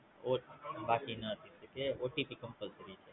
બાકીના OTPCompulsory છે